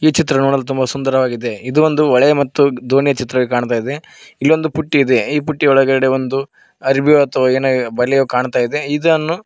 ಚಿತ್ರ ನೋಡಲು ತುಂಬ ಸುಂದರವಾಗಿದೆ ಇದು ಒಂದು ಹೊಳೆ ಮತ್ತು ದೋಣಿಯ ಚಿತ್ರವು ಕಾಣ್ತಾ ಇದೆ ಇಲ್ಲೊಂದು ಪುಟ್ಟಿ ಇದೆ ಈ ಪುಟ್ಟಿ ಒಳಗಡೆ ಒಂದು ಅರ್ಬಿ ಅಥವಾ ಏನೋ ಬಲೆಯೂ ಕಾಣ್ತಾ ಇದೆ ಇದನ್ನು --